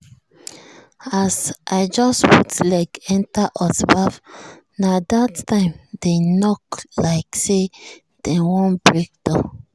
as i just put leg enter hot baff na that time dem knock like say dem wan break door.